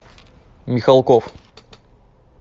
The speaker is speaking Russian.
михалков